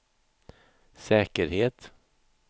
säkerhet